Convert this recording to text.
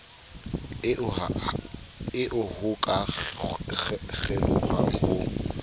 eo ho ka kgelohwang ho